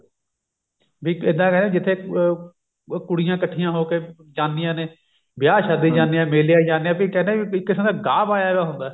ਵੀ ਇੱਦਾਂ ਕਹਿੰਦੇ ਜਿੱਥੇ ਅਮ ਕੁੜੀਆਂ ਕੱਠੀਆਂ ਹੋ ਕੇ ਜਾਂਦੀਆਂ ਨੇ ਵਿਆਹ ਚ ਜਾਂਦੀਆਂ ਨੇ ਮੇਲਿਆਂ ਚ ਜਾਂਦੀਆਂ ਵੀ ਕਹਿਨੇ ਆ ਵੀ ਇੱਕ ਕਿਸਮ ਦਾ ਗਾਹ ਪਾਇਆ ਹੁੰਦਾ